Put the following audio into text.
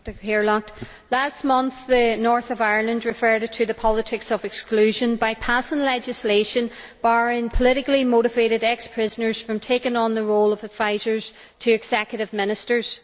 Mr President, last month the north of Ireland drew further to the politics of exclusion by passing legislation barring politically motivated ex prisoners from taking on the role of advisers to executive ministers.